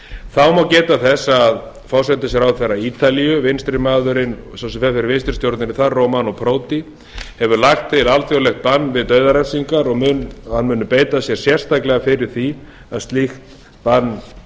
þá má geta þess að forsætisráðherra ítalíu sá sem fer fyrir vinstri stjórninni þar romano prodi hefur lagt til alþjóðlegt bann við dauðarefsingum og hann muni beita sér sérstaklega fyrir því að slíkt bann